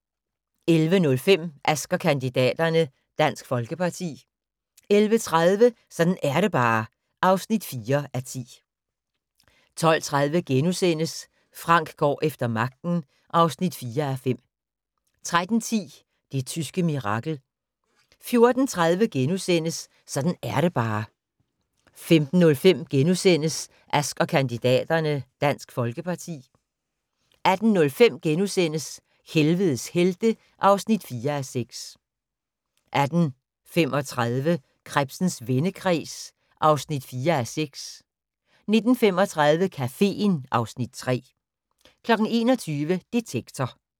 11:05: Ask & kandidaterne: Dansk Folkeparti 11:30: Sådan er det bare (4:10) 12:30: Frank går efter magten (4:5)* 13:10: Det tyske mirakel 14:30: Sådan er det bare (3:10)* 15:05: Ask & kandidaterne: Dansk Folkeparti * 18:05: Helvedes helte (4:6)* 18:35: Krebsens vendekreds (4:6) 19:35: Caféen (Afs. 3) 21:00: Detektor